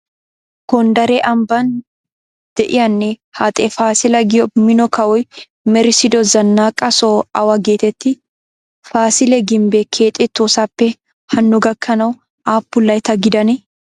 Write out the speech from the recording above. Gonddare ambban de'iyanne haxe faasila giyo mino kawoy merissido zannaqa soho awa geetettii? Faasile gimbbee keexettoosappe hanno gakkanawu aappun laytta gidanee?